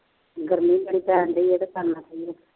ਗਰਮੀ ਬੜੀ ਪੈਣ ਡੇਈ ਹੈ ਅਤੇ ਕਰਨਾ ਕੀ ਹੈ